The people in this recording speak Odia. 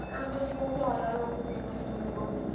ଆମର ବହୁତ୍ ହଇରାଣ ହଉଛନ୍ତି ଏପଟେ ସବୁ ଲୋକମାନେ।